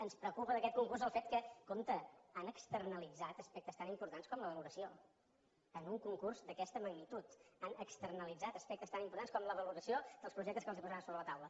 ens preocupa d’aquest concurs el fet que compte han externalitzat aspectes tan importants com la valoració en un concurs d’aquesta magnitud han externalitzat aspectes tan importants com la valoració dels projectes que els posaven a sobre la taula